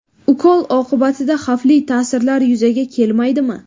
Ukol oqibatida xavfli ta’sirlar yuzaga kelmaydimi?